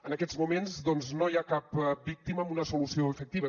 en aquests moments doncs no hi ha cap víctima amb una solució efectiva